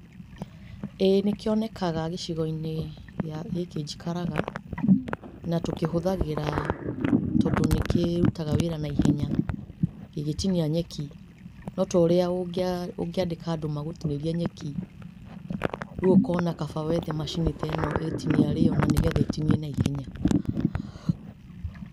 Ĩĩ nĩkĩonekaga gicigo-inĩ gĩa gĩkĩ njikaraga. Na tũkĩhũthagĩra tondũ nĩkĩrutaga wĩra na ihenya, gĩgĩtinia nyeki.No ta ũrĩa ũngĩa ũngĩandĩka andũ magũtinĩrie nyeki rĩũ ũkona kaba wethe macini ta ĩno ĩtinie arĩ yo na nĩ getha ĩtinie na ihenya.